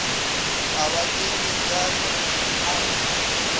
a ba kekeetšane a re